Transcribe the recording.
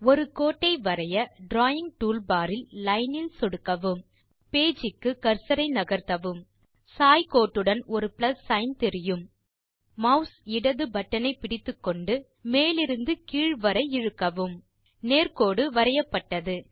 ஒரு கோட்டை வரைய டிராவிங் டூல்பார் இல் லைன் இல் சொடுக்கவும் பேஜ் க்கு கர்சர் ஐ நகர்த்தவும் சாய் கோட்டுடன் ஒரு பிளஸ் சிக்ன் தெரியும் மாஸ் இடது பட்டன் ஐ பிடித்துக்கொண்ட மேலிருந்து கீழ் வரை இழுக்கவும் நேர் கோடு வரையப்பட்டது